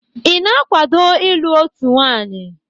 Ị na-akwado ịlụ otu nwanyị?